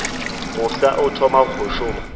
mofsa o thoma go šoma